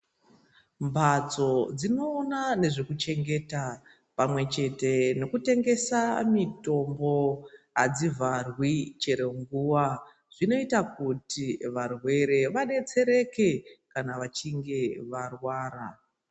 Mphatso dzinoona nezvekuchengeta pamwechete nekutengesa mitombo adzivharwi chero nguwa zvinoita kuti varwere vadetsereke kana vachinge varwara.